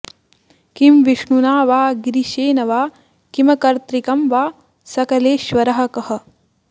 किं विष्णुना वा गिरिशेन वा किमकर्तृकं वा सकलेश्वरः कः